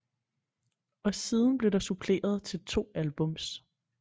Og siden blev der suppleret til 2 albums